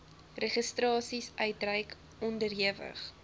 registrasies uitreik onderhewig